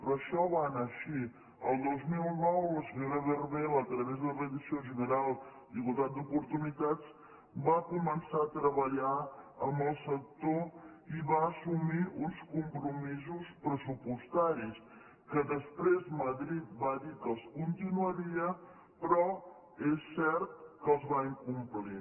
però això va anar així el dos mil nou la senyora berbel a través de la direcció general d’igualtat d’oportunitats va començar a treballar amb el sector i va assumir uns compromisos pressupostaris que després madrid va dir que els continuaria però que és cert que els va incomplir